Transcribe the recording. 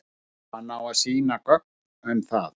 Hann á að sýna gögn um það.